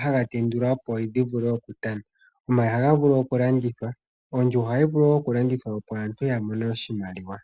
ha ga tendulwa opo dhi vule okutana. Omayi oha ga vulu okulandithwa. Ondjuhwa oha yi vulu oku landithwa opo aantu ya mone oshimaliwa.